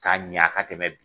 Ka ɲa ka tɛmɛ